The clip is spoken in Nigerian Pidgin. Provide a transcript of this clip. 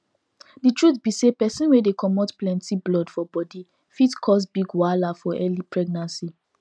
the truth be say persin wey dey comot plenty blood for body fit cause big wahala for early pregnancy